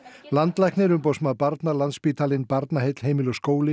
landlæknir Umboðsmaður barna Landspítalinn Barnaheill Heimili og skóli